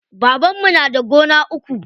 Babanmu na da gona uku.